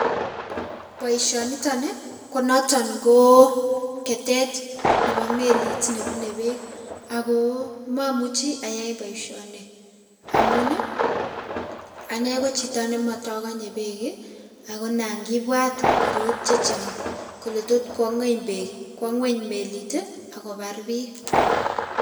boishioniton ii ko noton koo ketet nepo melit nebune beek agoo momuchi ayai boishioni amun ii anee ko chito ne motokonye beek ii agoo nan kibwat korot chechang kole tot kwo ngweny melit ak kobar biik